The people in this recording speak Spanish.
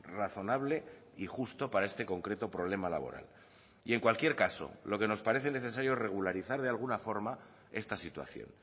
razonable y justo para este concreto problema laboral y en cualquier caso lo que nos parece necesario regularizar de alguna forma esta situación